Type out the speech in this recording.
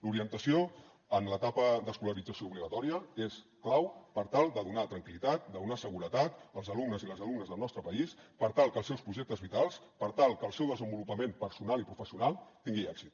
l’orientació en l’etapa d’escolarització obligatòria és clau per tal de donar tranquil·litat de donar seguretat als alumnes i les alumnes del nostre país per tal que els seus projectes vitals per tal que el seu desenvolupament personal i professional tinguin èxit